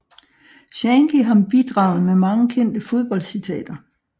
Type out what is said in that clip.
Shankly har bidraget med mange kendte fodboldcitater